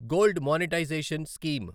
gold monetisation scheme